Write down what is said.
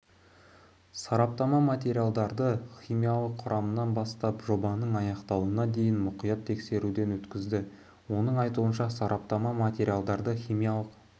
сараптама материалдарды химиялық құрамынан бастап жобаның аяқталуына дейін мұқият тексеруден өткізді оның айтуынша сараптама материалдарды химиялық